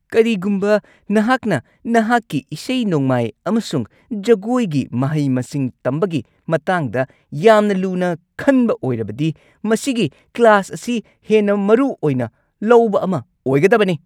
ꯀꯔꯤꯒꯨꯝꯕ ꯅꯍꯥꯛꯅ ꯅꯍꯥꯛꯀꯤ ꯏꯁꯩ-ꯅꯣꯡꯃꯥꯏ ꯑꯃꯁꯨꯡ ꯖꯒꯣꯏꯒꯤ ꯃꯍꯩ-ꯃꯁꯤꯡ ꯇꯝꯕꯒꯤ ꯃꯇꯥꯡꯗ ꯌꯥꯝꯅ ꯂꯨꯅ ꯈꯟꯕ ꯑꯣꯏꯔꯕꯗꯤ ꯃꯁꯤꯒꯤ ꯀ꯭ꯂꯥꯁ ꯑꯁꯤ ꯍꯦꯟꯅ ꯃꯔꯨ ꯑꯣꯏꯅ ꯂꯧꯕ ꯑꯃ ꯑꯣꯏꯒꯗꯕꯅꯤ꯫